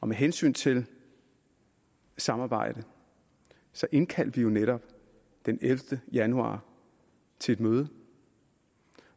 med hensyn til samarbejdet indkaldte vi jo netop den ellevte januar til et møde